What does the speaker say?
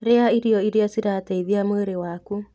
Rĩa irio iria cirateithia mwĩrĩ waku.